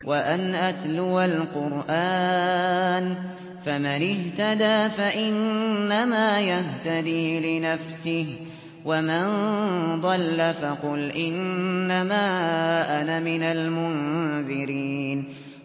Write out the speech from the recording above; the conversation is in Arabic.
وَأَنْ أَتْلُوَ الْقُرْآنَ ۖ فَمَنِ اهْتَدَىٰ فَإِنَّمَا يَهْتَدِي لِنَفْسِهِ ۖ وَمَن ضَلَّ فَقُلْ إِنَّمَا أَنَا مِنَ الْمُنذِرِينَ